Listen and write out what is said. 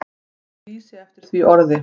Ég lýsi eftir því orði.